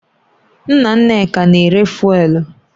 Nna Nneka na-ere fụ́élú